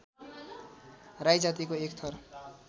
राई जातीको एक थर